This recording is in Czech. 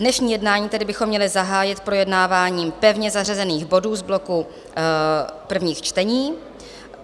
Dnešní jednání tedy bychom měli zahájit projednáváním pevně zařazených bodů z bloku prvních čtení.